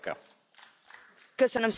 Köszönöm szépen, Elnök Úr!